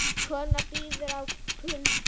Kona bíður í kulda